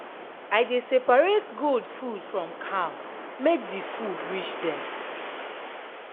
i dey separate goat food from cow make de food reach dem.